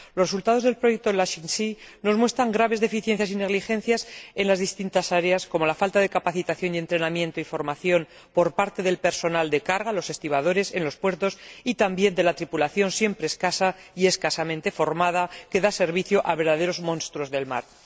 Los resultados del proyecto LashingSea nos muestran graves deficiencias y negligencias en las distintas áreas, como la falta de capacitación y entrenamiento y formación por parte del personal de carga, los estibadores en los puertos, y también de la tripulación, siempre escasa, y escasamente formada, que da servicio a verdaderos monstruos del mar.